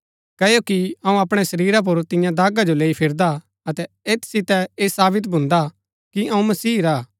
क्ओकि अऊँ अपणै शरीरा पुर तिन्या दागा जो लैई फिरदा अतै ऐत सितै ऐह सावित भून्दा कि अऊँ मसीह रा हा